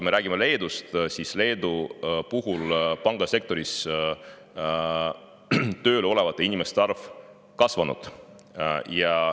Aga Leedus on pangasektoris tööl olevate inimeste arv kasvanud.